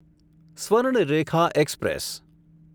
Swarnarekha express